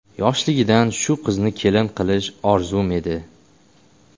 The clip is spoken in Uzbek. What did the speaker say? Yoshligidan shu qizni kelin qilish orzum edi.